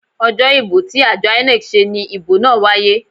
Ojo ibo ti ajo INEC se ni ibo naa waye.